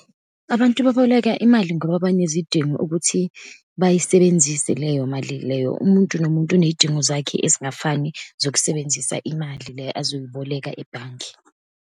Abantu baboleka imali ngoba banezidingo ukuthi bayisebenzise leyo mali leyo. Umuntu nomuntu uneyidingo zakhe ezingafani zokusebenzisa imali le azoyiboleka ebhange.